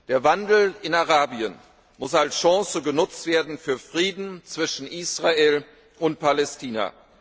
Der Wandel in Arabien muss als Chance genutzt werden für Frieden zwischen Israel und Palästina.